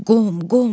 Qom qom.